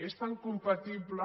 és tan compatible